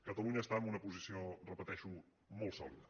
catalunya està en una posició ho repeteixo molt sò·lida